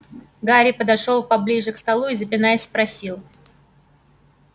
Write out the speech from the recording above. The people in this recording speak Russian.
гарри подошёл поближе к столу и запинаясь спросил